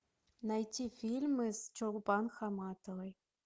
найти фильмы с чулпан хаматовой